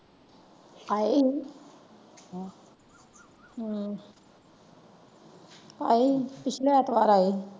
ਆਏ ਹਮ ਆਏ ਪਿਛਲੇ ਐਤਵਾਰ ਆਏ ਸੀ।